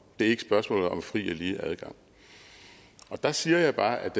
det er ikke spørgsmålet om fri og lige adgang der siger jeg bare at